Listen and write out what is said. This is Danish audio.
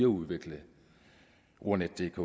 udvikle ordnetdk